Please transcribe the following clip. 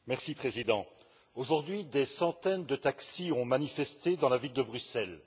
Monsieur le Président, aujourd'hui, des centaines de taxis ont manifesté dans la ville de Bruxelles.